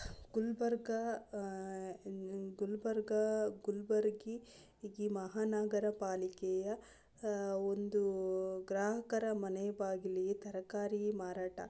ಗುಲ್ಬರ್ಗ ಆಹ್ಹ್ ಗುಲ್ಬರ್ಗ ಗುಲ್ಬರ್ಗಿ ಮಹಾನಗರ ಪಾಲಿಕೆಯ ಆ ಒಂದು ಗ್ರಾಹಕರ ಮನೆಯ ಬಾಗಿಲು ತರಕಾರಿ ಮಾರಾಟ.